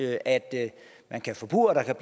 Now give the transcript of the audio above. at man kan forpurre at der